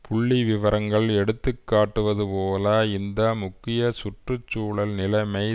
புள்ளி விவரங்கள் எடுத்துக்காட்டுவது போல இந்த முக்கிய சுற்றுசூழல் நிலைமை